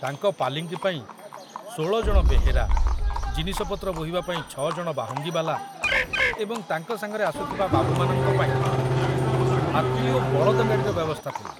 ତାଙ୍କ ପାଲିଙ୍କି ପାଇଁ ଷୋଳ ଜଣ ବେହେରା, ଜିନିଷପତ୍ର ବୋହିବା ପାଇଁ ଛ ଜଣ ବାହୁଙ୍ଗିବାଲା, ଏବଂ ତାଙ୍କ ସାଙ୍ଗରେ ଆସୁଥିବା ବାବୁମାନଙ୍କ ପାଇଁ ହାତୀ ଓ ବଳଦଗାଡ଼ିର ବ୍ୟବସ୍ଥା ଥିଲା।